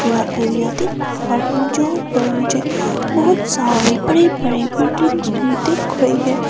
जहां पर मुझे बहोत सारे बड़े बड़े बिल्डिंग्स भी दिख रही है।